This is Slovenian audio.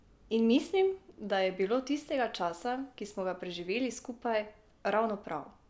In mislim, da je bilo tistega časa, ki smo ga preživeli skupaj, ravno prav.